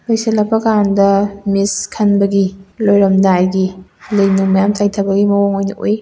ꯂꯣꯏꯁꯜꯂꯛꯄ ꯀꯟꯗ ꯃꯤꯁ ꯈꯟꯕꯒꯤ ꯂꯣꯏꯔꯝꯗꯥꯏꯒꯤ ꯂꯩ ꯃꯌꯥꯝ ꯆꯥꯏꯊꯒꯤ ꯃꯑꯣꯡ ꯑꯣꯏ ꯎꯏ꯫